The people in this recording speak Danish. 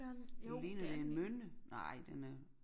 Det ligner det en mynde nej den er